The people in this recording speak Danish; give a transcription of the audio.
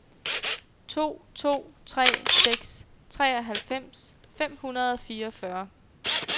to to tre seks treoghalvfems fem hundrede og fireogfyrre